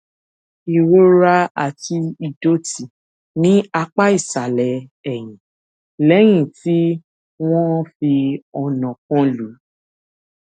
ìrora àti ìdòtí ní apá ìsàlè ẹyìn léyìn tí wón fi ọnà kan lù ú